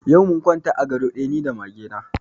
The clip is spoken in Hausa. Yau mun kwanta a ga do ɗaya ni da mage na